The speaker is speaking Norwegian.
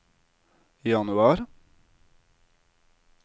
januar